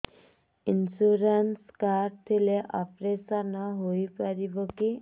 insurance card ଥିଲେ operation ହେଇପାରିବ କି